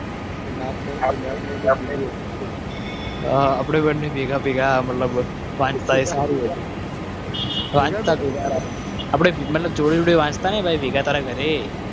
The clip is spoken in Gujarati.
આપણે બંને ભેગા ભેગાઘરે